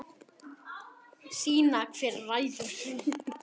Sýna hver ræður.